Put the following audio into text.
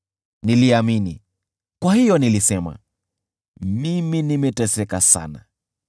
Niliamini, kwa hiyo nilisema, “Mimi nimeteseka sana.”